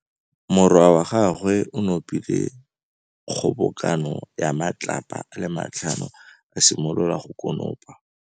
Morwa wa gagwe o nopile kgobokanô ya matlapa a le tlhano, a simolola go konopa.